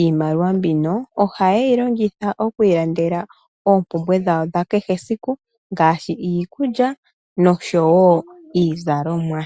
Iimaliwa mbino ohayeyi longitha okuilandela oompumbwe dhawo dhakehe siku ngaashi iikulya nosho wo iizalomwa.